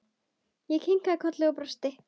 Ég kinkaði kolli og brosti.